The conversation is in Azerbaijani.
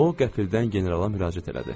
O qəfildən generala müraciət elədi.